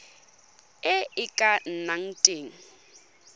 e e ka nnang teng